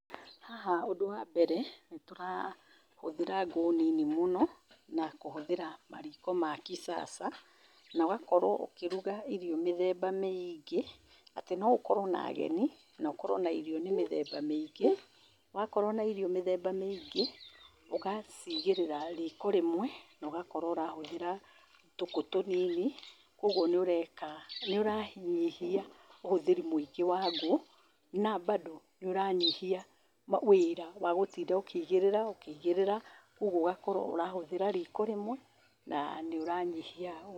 Haha ũndũ wa mbere nĩ tũrahũthĩra ngũ nini mũno na kũhũthĩra mariko ma kisasa na ũgakorwo ũkĩruga irio mĩthemba mĩingĩ. Atĩ no ũkorwo na ageni, na ũkorwo na irio nĩ mĩthemba mĩingĩ. Wakorwo na irio mĩthemba mĩingĩ, ũgaciigĩrĩra riiko rĩmwe na ũgakorwo ũrahũthĩra tũkũ tũnini. Kwoguo nĩ ũreka- nĩ ũranyihia ũhũthĩri mũingĩ wa ngũ, na bado nĩ ũranyihia wĩra wa gũtinda ũkĩigĩrĩra, ũkĩigĩrĩra. Kwoguo ũgakorwo ũrahũthĩra riiko rĩmwe na nĩ ũranyihia-.